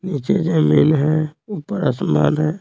नीचे जमीन है ऊपर आसमान है।